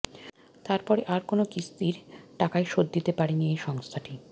তারপরে আর কোনও কিস্তির টাকাই শোধ দিতে পারেনি এই সংস্থাটি